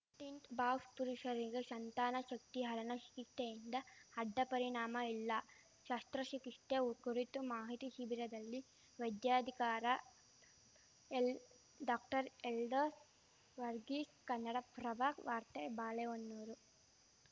tint box ಪುರುಷರಿಗೆ ಶಂತಾನ ಶಕ್ತಿಹರಣ ಚಿಕಿಸ್ತೆಯಿಂದ ಅಡ್ಡಪರಿಣಾಮ ಇಲ್ಲ ಶಸ್ತ್ರಚಿಕಿಸ್ತೆ ಕುರಿತ ಮಾಹಿತಿ ಶಿಬಿರದಲ್ಲಿ ವೈದ್ಯಾಧಿಕಾರ ಎಲ್ ಡಾಕ್ಟರ್ಎಲ್ದೋಸ್‌ ವರ್ಗೀಸ್‌ ಕನ್ನಡಪ್ರಭ ವಾರ್ತೆ ಬಾಳೆಹೊನ್ನೂರು